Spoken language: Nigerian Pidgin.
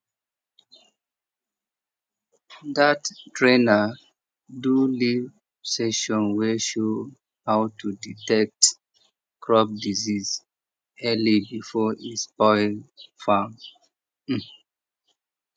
that trainer do live session wey show how to detect crop disease early before e spoil farm um